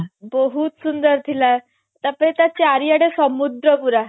ବହୁତ ସୁନ୍ଦର ଥିଲା ତାପରେ ତା ଚାରିଆଡେ ସମୁଦ୍ର ପୁରା